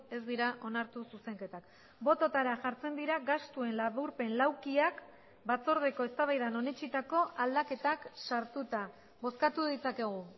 ez dira onartu zuzenketak bototara jartzen dira gastuen laburpen laukiak batzordeko eztabaidan onetsitako aldaketak sartuta bozkatu ditzakegu